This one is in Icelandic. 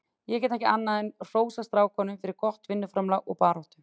Ég get ekki annað en hrósað strákunum fyrir gott vinnuframlag og baráttu.